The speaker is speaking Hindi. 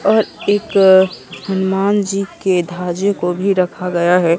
और एक हनुमान जी के धाजे को भी रखा गया है।